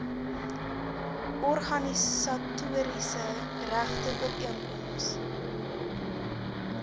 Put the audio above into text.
organisatoriese regte ooreenkoms